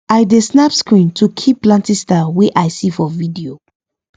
i dey snap screen to keep planting style wey i see for video